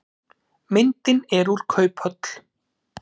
Myndin er úr kauphöll.